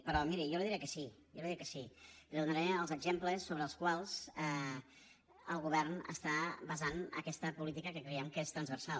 però miri jo li diré que sí jo li diré que sí i li donaré els exemples sobre els quals el govern està basant aquesta política que creiem que és transversal